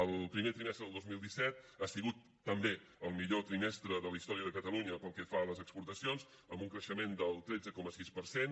el primer trimestre del dos mil disset ha sigut també el millor trimestre de la història de catalunya pel que fa a les exportacions amb un creixement del tretze coma sis per cent